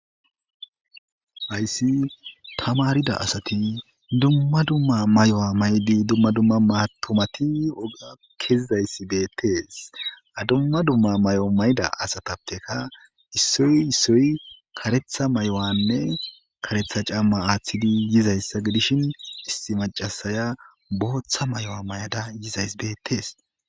Hayssi tamaarida asati dumma dumma mayo mayiddi dumma dumma matumati oggiya keyizayssi bettees. Ha dumma mayo mayida asatapekka issoy issoy kareththa mayonne kareththa caamma aathidi yizayssa gidishin issi maccasay booththa mayo mayaza yidays beettees